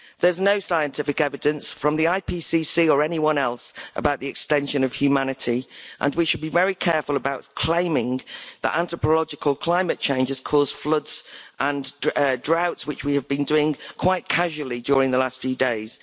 There's no scientific evidence from the IPCC or anyone else about the extinction of humanity, and we should be very careful about claiming that anthropological climate changes cause floods and droughts, which we have been doing quite casually during the last few days.